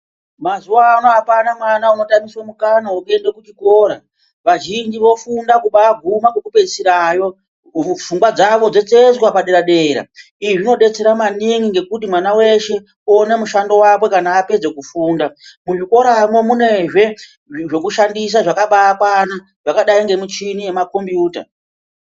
Mazuwa ano apana mwana unotamiswe mukana wekuende kuchikora. Vazhinji vofunda kubaaguma kwekupeisirayo ,pfungwa dzawo dzotsetswa padera-dera. Izvi zvinodetsera maningi ngekuti mwana weshe oona mushando wakwe kana apedza kufunda. Muzvikoramwo munezve, zvekushandisa zvakabaakwana, zvakadayi ngemichhini yemakhombiyuta.